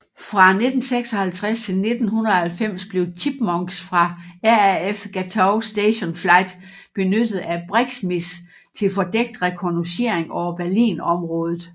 Fra 1956 til 1990 blev Chipmunks fra RAF Gatow Station Flight benyttet af BRIXMIS til fordækt rekognoscering over Berlin området